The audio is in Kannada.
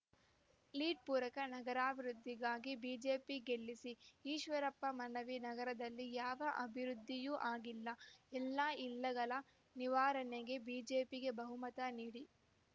ಲೀಡ್‌ ಪೂರಕ ನಗರಾಭಿವೃದ್ಧಿಗಾಗಿ ಬಿಜೆಪಿ ಗೆಲ್ಲಿಸಿ ಈಶ್ವರಪ್ಪ ಮನವಿ ನಗರದಲ್ಲಿ ಯಾವ ಅಭಿವೃದ್ಧಿಯೂ ಆಗಿಲ್ಲ ಎಲ್ಲ ಇಲ್ಲಗಳ ನಿವಾರಣೆಗೆ ಬಿಜೆಪಿಗೆ ಬಹುಮತ ನೀಡಿ